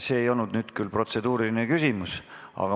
See ei olnud küll protseduuriline küsimus.